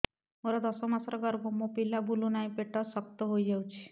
ମୋର ଦଶ ମାସର ଗର୍ଭ ମୋ ପିଲା ବୁଲୁ ନାହିଁ ପେଟ ଶକ୍ତ ହେଇଯାଉଛି